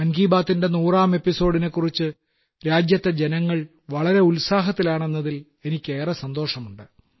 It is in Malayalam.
മൻ കി ബാത്തിന്റെ നൂറാം എപ്പിസോഡിനെക്കുറിച്ചും രാജ്യത്തെ ജനങ്ങൾ വളരെ ഉത്സാഹത്തിലാണെന്നതിൽ എനിക്കേറെ സന്തോഷമുണ്ട്